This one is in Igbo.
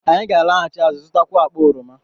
Anyị ga-alaghachi azụ, zụtakwuo akpa oroma